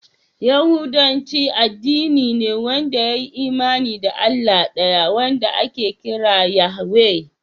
Yahudanci addini ne wanda ya yi imani da Allah ɗaya wanda ake kira Yahweh.